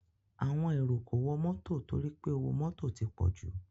Àwọn èrò kò wọ mọ́tọ torí pé owó mọ́tò ti pọ̀jù.